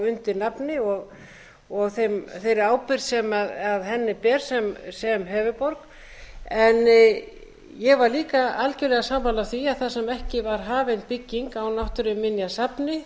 undir nafni og þeirri ábyrgð sem henni ber sem höfuðborg en ég var líka algerlega sammála því að þar sem ekki var hafin bygging á náttúruminjasafni